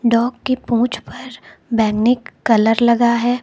Dog के पूंछ पर बैंगनी कलर लगा है।